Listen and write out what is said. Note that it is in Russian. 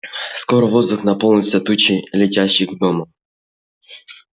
скоро воздух наполнился тучей летящих гномов